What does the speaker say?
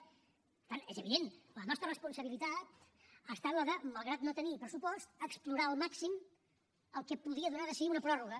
per tant és evident la nostra responsabilitat ha estat la de malgrat no tenir pressupost explorar al màxim el que podia donar de si una pròrroga